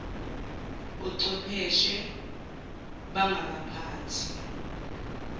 kochwepheshe ban gaphakathi